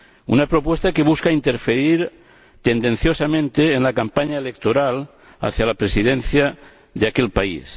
una propuesta que busca interferir tendenciosamente en la campaña electoral hacia la presidencia de aquel país